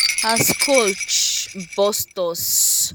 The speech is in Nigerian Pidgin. as coach bust us na so everybody compose like say we don ready for am tey tey